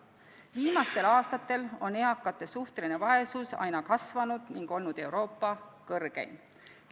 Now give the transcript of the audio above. Viimastel aastatel on eakate suhteline vaesus aina kasvanud ning olnud Euroopa kõrgeim.